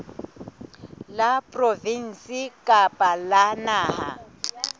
la provinse kapa la naha